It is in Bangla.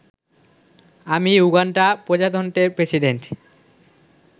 আমি উগান্ডা প্রজাতন্ত্রের প্রেসিডেন্ট